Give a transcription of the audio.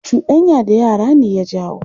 Cuɗanya da yara ne ya jawo.